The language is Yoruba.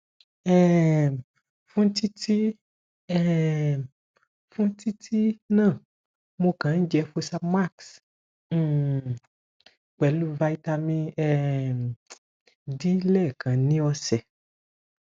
um fún títí um fún títí náà mo kàn ń jẹ fosamax um pelu vitamin um d lẹẹkan ni ọsẹ